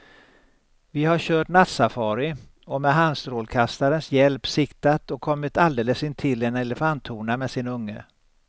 Vi har kört nattsafari och med handstrålkastarens hjälp siktat och kommit alldeles intill en elefanthona med sin unge.